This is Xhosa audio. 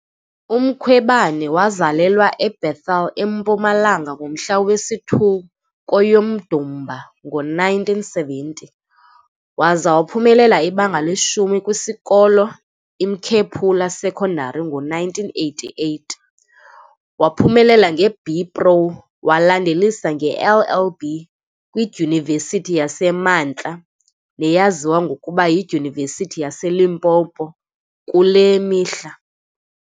UMkhwebane wazalelwa eBethal eMpumalanga ngomhla wesi-2 kweyoMdumba ngo-1970, waza waphumelela ibanga leshumi kwisikolo iMkhephula Sekondari ngo-1988. Waphumelela nge-BPro, walandelisa nge -LLB kwiDyunivesithi yasemaNtla, neyaziwa ngokuba yiDyunivesithi yaseLimpopo kule mihla.